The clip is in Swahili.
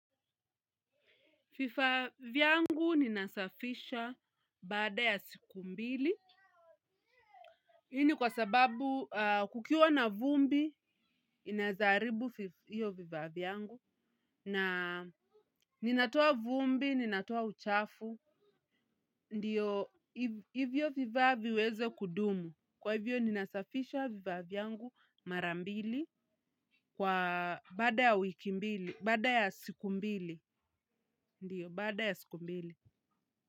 Fifaviyangu ninasafisha bada ya siku mbili. Hi ni kwa sababu kukiwa na vumbi, inaezaribu hiyo vivaviyangu. Na ninatua vumbi, ninatua uchafu. Ndiyo, hivyo vivavyo viweze kudumu. Kwa hivyo, ninasafisha vivaviyangu marambili kwa bada ya wikimbili, bada ya siku mbili. Ndiyo, bada ya siku mbili.